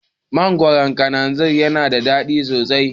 Mangoron kananzir yana da daɗi sosai